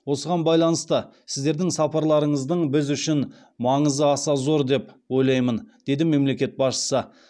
осыған байланысты сіздердің сапарларыңыздың біз үшін маңызы аса зор деп ойлаймын деді мемлекет басшысы